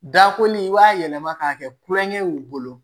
Dakoli b'a yɛlɛma k'a kɛ kulonkɛ ye u bolo